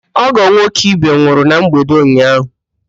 Ọ́gọ̀ nwoke Ibe nwụrụ na mgbede ụnyaahụ.